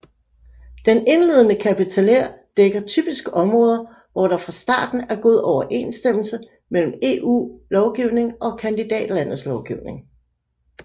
Den indledende kapiteler dækker typisk områder hvor der fra starten er god overensstemmelse mellem EU lovgivning og kandidatlandets lovgivning